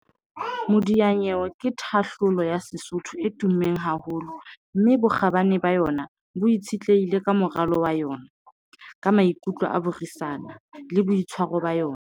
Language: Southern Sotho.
Modianyewe ke thahlolo ya Sesotho e tummeng haholo. Mme bokgabane ba yona bo itshetlehile ka moralo wa yona, ka maikutlo a buisana le boitshwaro ba yona.